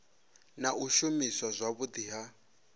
na u shumiswa zwavhudi ha